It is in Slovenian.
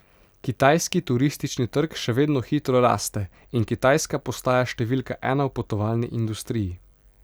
Kitajski turistični trg še vedno hitro raste in Kitajska postaja številka ena v potovalni industriji.